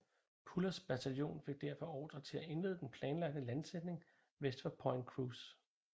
Pullers bataljon fik derfor ordre til at indlede den planlagte landsætning vest for Point Cruz